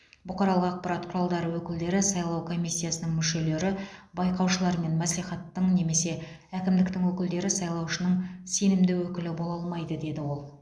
бұқаралық ақпарат құралдары өкілдері сайлау комиссиясының мүшелері байқаушылар мен мәслихаттың немесе әкімдіктің өкілдері сайлаушының сенімді өкілі бола алмайды деді ол